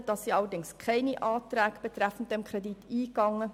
Innerhalb der SiK gingen allerdings keine Anträge betreffend diesen Kredit ein.